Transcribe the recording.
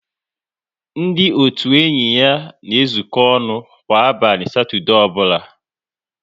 Ndị otu enyi ha na ezuko ọnụ kwa abalị Satọdee ọbụla